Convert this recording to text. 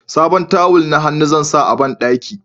sabon tawul na hannu zan sa a banɗaki